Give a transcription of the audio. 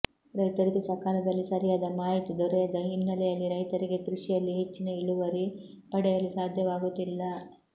ರೈತರಿಗೆ ಸಕಾಲದಲ್ಲಿ ಸರಿಯಾದ ಮಾಹಿತಿ ದೊರೆಯದ ಹಿನ್ನಲೆಯಲ್ಲಿ ರೈತರಿಗೆ ಕೃಷಿಯಲ್ಲಿ ಹೆಚ್ಚಿನ ಇಳುವರಿ ಪಡೆಯಲು ಸಾಧ್ಯವಾಗುತ್ತಿಲ್ಲ